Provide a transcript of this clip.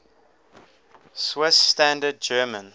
swiss standard german